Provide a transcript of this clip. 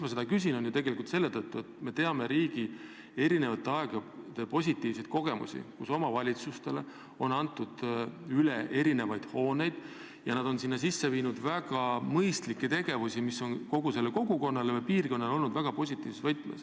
Ma küsin seda selle tõttu, et me teame eri aegadest positiivseid kogemusi, kus riik on omavalitsustele mingeid hooneid üle andnud ja neis on alustatud väga mõistlikke tegevusi, mis on tervele kogukonnale või piirkonnale kasu toonud.